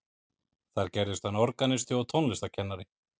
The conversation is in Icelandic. þar gerðist hann organisti og tónlistarkennari